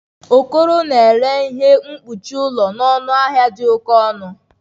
Okoro na-ere ihe mkpuchi ụlọ na ọnụ ahịa dị oke ọnụ